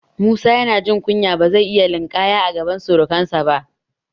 Musa yana jin kunya, ba zai iya linƙaya a gaban surukansa ba.